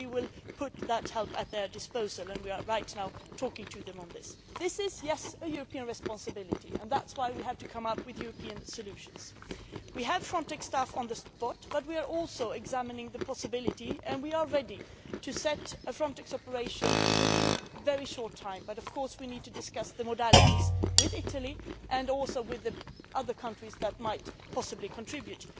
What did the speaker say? We will put that help at their disposal and we are talking to them about this at the moment. This is a European responsibility and that is why we have to come up with European solutions. We have Frontex staff in place, but we are also examining the possibility and we are ready of setting up a Frontex operation within a very short time, but, of course, we need to discuss the modalities with Italy and also with the other countries that might possibly contribute.